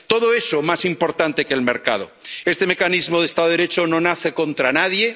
Todo eso es más importante que el mercado. Este mecanismo de Estado de Derecho no nace contra nadie